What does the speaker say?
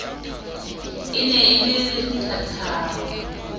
e ne e le lethathama